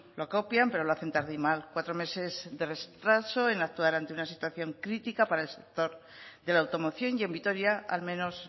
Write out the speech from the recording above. lo copian pero lo hacen tarde y mal cuatro meses de retraso en actuar ante una situación crítica para el sector de la automoción y en vitoria al menos